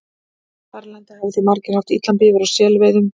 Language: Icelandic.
Þar í landi hafa því margir haft illan bifur á selveiðum.